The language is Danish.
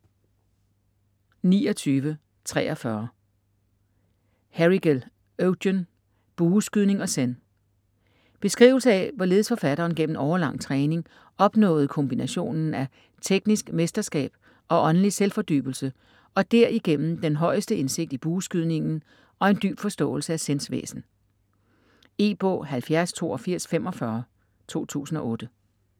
29.43 Herrigel, Eugen: Bueskydning og Zen Beskrivelse af hvorledes forfatteren gennem årelang træning opnåede kombinationen af teknisk mesterskab og åndelig selvfordybelse og derigennem den højeste indsigt i bueskydningen og en dyb forståelse af Zens væsen. E-bog 708245 2008.